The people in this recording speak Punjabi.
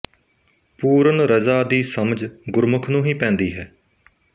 ਪੂਰਨ ਰਜ਼ਾ ਦੀ ਸਮਝ ਗੁੁਰਮੁਖ ਨੂੰ ਹੀ ਪੈਂਦੀ ਹੈ